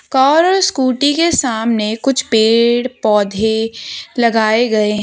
Car और scooty के सामने कुछ पेड़ पौधे लगाए गए।